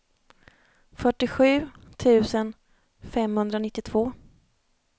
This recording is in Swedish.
fyrtiosju tusen femhundranittiotvå